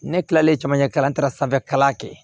Ne kilalen camancɛ kalan sanfɛ kalan kɛ